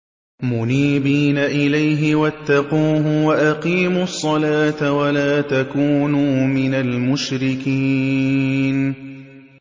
۞ مُنِيبِينَ إِلَيْهِ وَاتَّقُوهُ وَأَقِيمُوا الصَّلَاةَ وَلَا تَكُونُوا مِنَ الْمُشْرِكِينَ